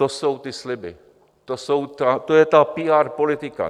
To jsou ty sliby, To je ta PR politika.